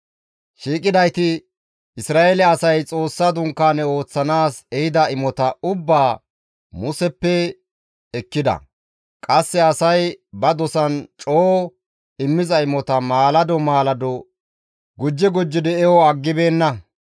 Shiiqidayti Isra7eele asay Xoossa Dunkaane ooththanaas ehida imota ubbaa Museppe ekkida. Qasse asay ba dosan coo immiza imota maalado maalado gujji gujjidi eho aggibeenna.